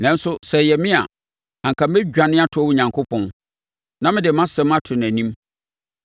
“Nanso sɛ ɛyɛ me a, anka mɛdwane atoa Onyankopɔn; na mede mʼasɛm ato nʼanim.